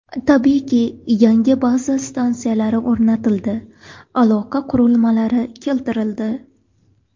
Tabiiyki, yangi baza stansiyalari o‘rnatildi, aloqa qurilmalari keltirildi.